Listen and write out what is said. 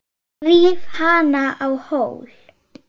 Ríf hana á hol.